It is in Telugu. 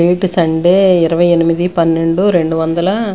డేట్ సండే ఇరవై ఎనిమిది పన్నెండు రెండు వొందల.